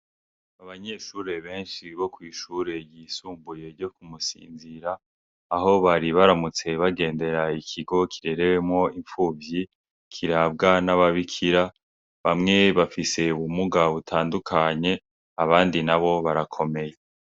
Abanyeshure benshi bo kw'ishure ryisumbuye ryo ku Musinzira aho bari baramutse bagendera ikigo kirerewemwo impfuvyi kirabwa n'ababikira, bamwe bafise ubumuga butandukanye, abandi nabo barakomeye.